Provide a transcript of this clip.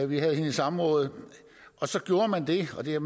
vi havde hende i samråd og så gjorde man det og det har